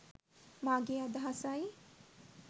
මාගේ අදහසයි.